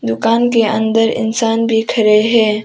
दुकान के अंदर इंसान भी खड़े हैं।